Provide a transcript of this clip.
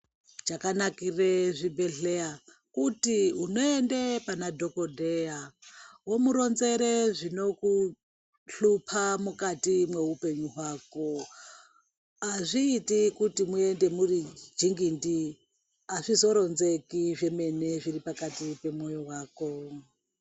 Chakanakire zvibhedhleya kuti unoende pana dhokodheya womuronzere zvinokuhlupa mukati mweupenyu hwako azviiti kuti muende muri jingindi azvizoronzeki zvemene zviri pakati pemwoyo wako.